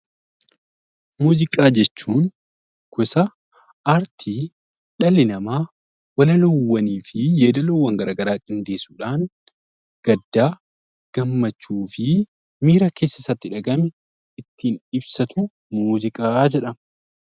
Muuziqaa jechuun gosa aartii dhalli namaa walaloo fi yeedaloowwan garaagaraa qindeessuudhaan kan gaddaa, gammachuu fi miira keessa isaatti dhagahame ittiin ibsatu muuziqaa jedhama